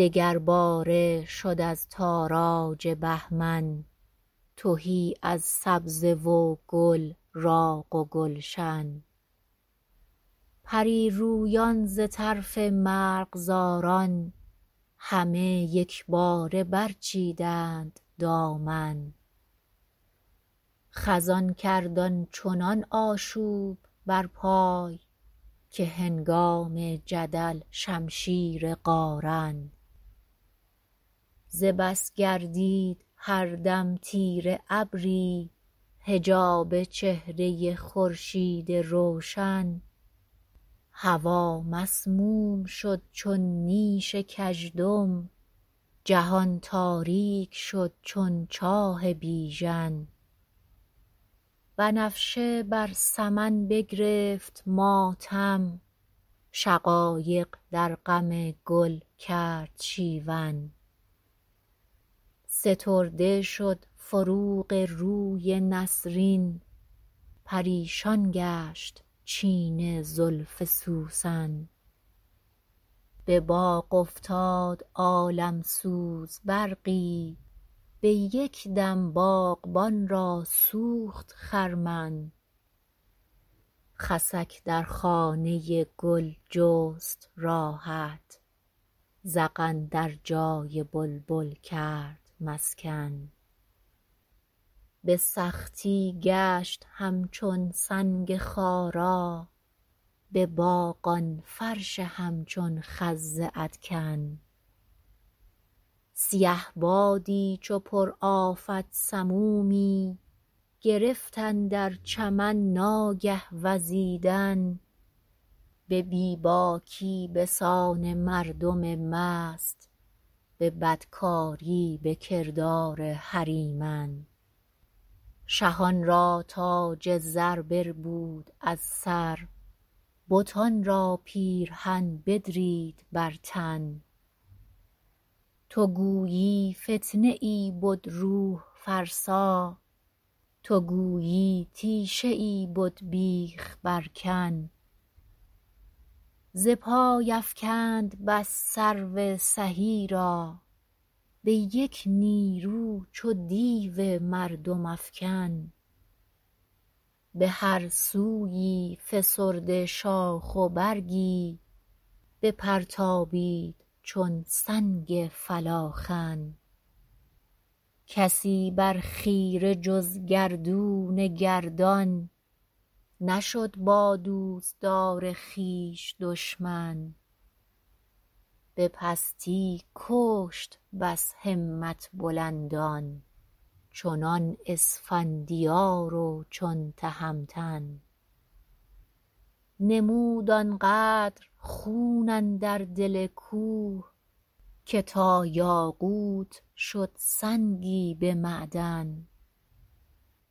دگر باره شد از تاراج بهمن تهی از سبزه و گل راغ و گلشن پریرویان ز طرف مرغزاران همه یکباره بر چیدند دامن خزان کرد آنچنان آشوب بر پای که هنگام جدل شمشیر قارن ز بس گردید هر دم تیره ابری حجاب چهره خورشیدی روشن هوا مسموم شد چون نیش کژدم جهان تاریک شد چون چاه بیژن بنفشه بر سمن بگرفت ماتم شقایق در غم گل کرد شیون سترده شد فروغ روی نسرین پریشان گشت چین زلف سوسن بباغ افتاد عالم سوز برقی بیکدم باغبان را سوخت خرمن خسک در خانه گل جست راحت زغن در جای بلبل کرد مسکن بسختی گشت همچون سنگ خارا بباغ آن فرش همچون خز ادکن سیه بادی چو پر آفت سمومی گرفت اندر چمن ناگه وزیدن به بیباکی بسان مردم مست به بدکاری بکردار هریمن شهان را تاج زر بربود از سر بتان را پیرهن بدرید بر تن تو گویی فتنه ای بد روح فرسا تو گویی تیشه ای بد بیخ بر کن ز پای افکند بس سرو سهی را بیک نیرو چو دیو مردم افکن بهر سویی فسرده شاخ و برگی بپرتابید چون سنگ فلاخن کسی بر خیره جز گردون گردان نشد با دوستدار خویش دشمن به پستی کشت بس همت بلندان چنان اسفندیار و چون تهمتن نمود آنقدر خون اندر دل کوه که تا یاقوت شد سنگی به معدن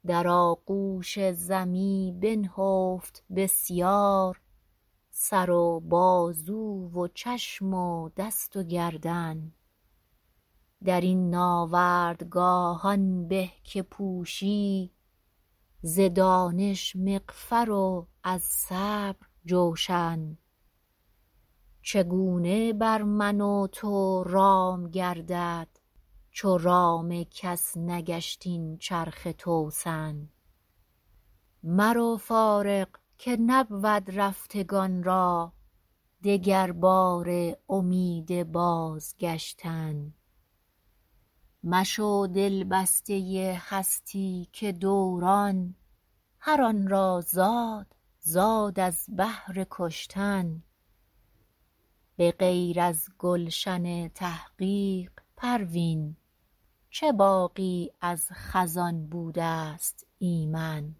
در آغوش ز می بنهفت بسیار سر و بازو و چشم و دست و گردن در این ناوردگاه آن به که پوشی ز دانش مغفر و از صبر جوشن چگونه بر من و تو رام گردد چو رام کس نگشت این چرخ توسن مرو فارغ که نبود رفتگان را دگر باره امید بازگشتن مشو دلبسته هستی که دوران هر آنرا زاد زاد از بهر کشتن بغیر از گلشن تحقیق پروین چه باغی از خزان بودست ایمن